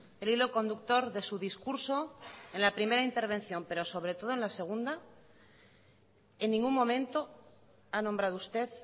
el hilo conductor de su discurso en la primera intervención pero sobre todo en la segunda en ningún momento ha nombrado usted